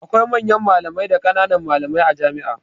Akwai manyan malamai da ƙanan malamai a jami'a